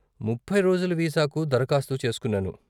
ముప్పై రోజుల వీసాకు దరఖాస్తు చేసుకున్నాను.